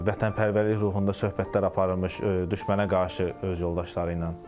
Vətənpərvərlik ruhunda söhbətlər aparılırmış düşmənə qarşı öz yoldaşları ilə.